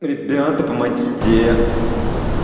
ребята помогите